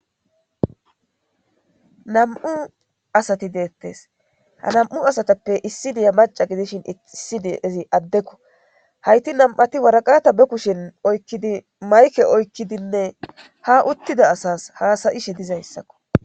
Nam'u asati deettes ha nam'u asatappe issi diya maca gidishin issidiezi addekko hayti nam'ati waraqata be kushen oykkidi mayke oykkidinne ha uttida asas haasayishe dizayssakko.